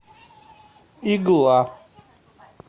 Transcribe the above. игла